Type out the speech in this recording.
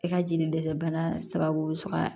I ka jeli dɛsɛ bana sababu bɛ sɔrɔ